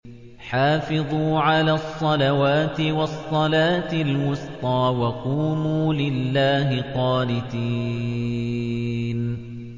حَافِظُوا عَلَى الصَّلَوَاتِ وَالصَّلَاةِ الْوُسْطَىٰ وَقُومُوا لِلَّهِ قَانِتِينَ